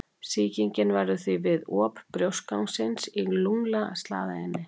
Sýkingin verður því við op brjóstgangsins í lungnaslagæðinni.